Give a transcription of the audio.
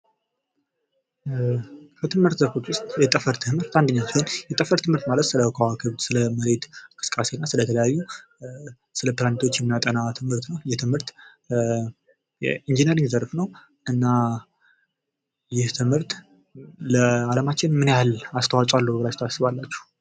ከ ትምህርት አይነቶች መካከል የጠፈር ትምህርት አንደኛ ሲሆን ማለት ስለከዋክብት እንቅስቃሴ እና ስለተለያዩ እንቅስቃሴዎች የሚያጠና ትምህርት ነው ይህ ትምህርት የኢንጂነሪንግ ዘርፍ ነው እና ይህ ትምህርት ለአለማችን ምን ያህል አስተዋጽኦ አለው ብላችሁ ታስባላችሁ?